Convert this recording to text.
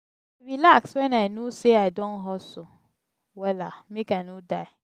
i dey relax wen i no sey i don hustle wella make i no die.